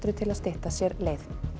til að stytta sér leið